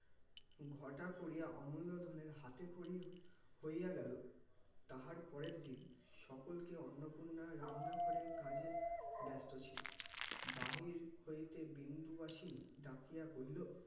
ঘটা করিয়া অমুল্য ধনের হাতে খড়ি হইয়া গেল তাহার পরের দিন সকলকে অন্নপূর্ণা রান্না ঘরের কাজে ব্যস্ত ছিল বাহির হইতে বিন্দুবাসিনি ডাকিয়া কহিল